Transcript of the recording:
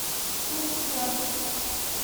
штутгарт